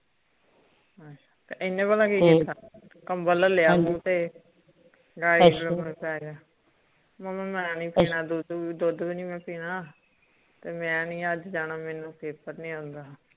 ਏਨੇ ਪਤਾ ਕਿ ਕੀਤਾ ਹਨਜੀ ਕੰਬਲ ਲਿਆ ਮੂੰਹ ਤੇ ਅੱਛਾ ਮੁਮੀ ਮੈਂ ਨੀ ਪੀਨਾ ਦੁੱਧ ਦੁੱਧ ਭੀ ਨੀ ਮੈਂ ਪੀਣਾ ਤੇ ਮੈਂ ਨੀ ਅੱਜ ਜਾਣਾ ਮੈਨੂੰ ਪੇਪਰ ਨੀ ਆਉਂਦਾ